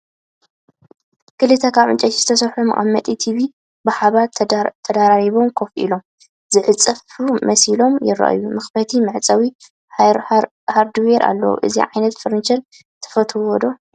ክልተ ካብ ዕንጨይቲ ዝተሰርሑ መቐመጢ ቲቪ ብሓባር ተደራሪቦም ኮፍ ኢሎም፡ ዝዕጸፉ መሲሎም ይረኣዩ። መኽፈቲን መዕጸዊ ሃርድዌርን ኣለዎም። እዚ ዓይነት ፈርኒቸር ትፈትውዎ ዶ?